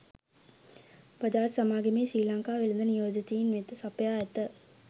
බජාජ් සමාගමේ ශ්‍රී ලංකා වෙළඳ නියෝජිතයින් වෙත සපයා ඇත